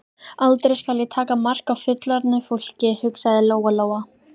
Aldrei skal ég taka mark á fullorðnu fólki, hugsaði Lóa-Lóa.